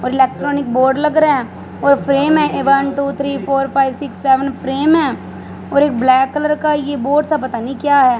और electronic board लग रहा है और फ्रेम है one two three four five six seven frame है और ये ब्लैक कलर का ये बोर्ड सा पता नहीं क्या है।